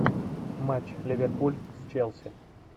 матч ливерпуль челси